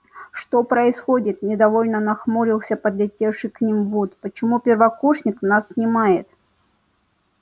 что происходит недовольно нахмурился подлетевший к ним вуд почему первокурсник нас снимает